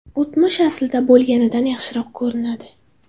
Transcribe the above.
O‘tmish aslida bo‘lganidan yaxshiroq ko‘rinadi”.